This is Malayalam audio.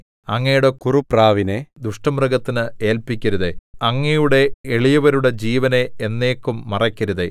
അങ്ങയുടെ കുറുപ്രാവിനെ ദുഷ്ടമൃഗത്തിന് ഏല്പിക്കരുതേ അങ്ങയുടെ എളിയവരുടെ ജീവനെ എന്നേക്കും മറക്കരുതേ